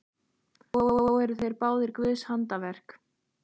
Þó eru þeir báðir guðs handaverk.